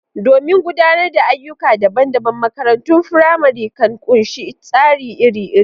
Domin gudanar da ayyuka dabam-dabam, makarantun firamare kan ƙunshi tsari iri-iri.